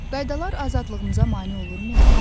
Qaydalar azadlığımıza mane olurmu?